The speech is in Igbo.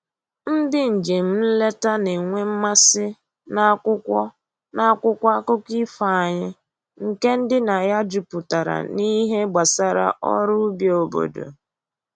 Ndị njem nleta na-enwe mmasị n'akwụkwọ n'akwụkwọ akụkọ ifo anyị nke ndịna ya juputara n'ihe gbasara ọrụ ubi obodo